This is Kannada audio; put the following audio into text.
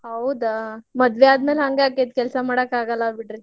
ಹೌದಾ ಮದ್ವೆ ಆದ್ಮೇಲೆ ಹಂಗ ಆಕ್ಕೇತಿ ಕೆಲ್ಸಾ ಮಾಡಕ್ ಆಗಲ್ಲ ಬಿಡ್ರಿ.